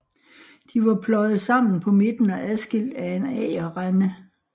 De var pløjet sammen på midten og adskilt af en agerrende